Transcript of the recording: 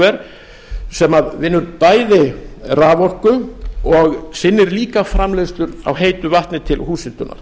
jarðvarmaorkuver sem vinnur bæði raforku og sinnir líka framleiðslu á heitu vatni til húshitunar